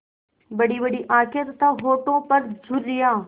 बड़ीबड़ी आँखें तथा होठों पर झुर्रियाँ